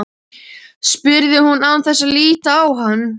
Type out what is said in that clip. spurði hún án þess að líta á hann.